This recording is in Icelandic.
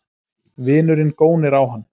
Vinurinn gónir á hann.